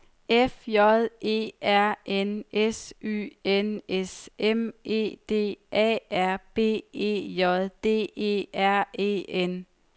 F J E R N S Y N S M E D A R B E J D E R E N